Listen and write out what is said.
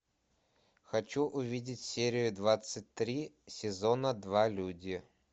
хочу увидеть серию двадцать три сезона два люди